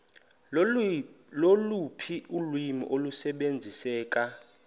loluphi ulwimi olusebenziseka